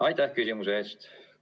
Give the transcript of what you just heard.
Aitäh küsimuse eest!